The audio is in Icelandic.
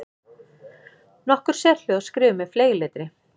Nokkur sérhljóð skrifuð með fleygletri.